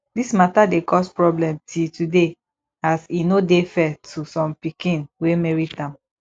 dis mata dey cause problem till today as e no dey fair to som pikin wey merit am